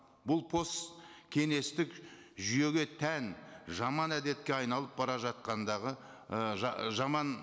бұл посткеңестік жүйеге тән жаман әдетке айналып бара жатқандағы і жаман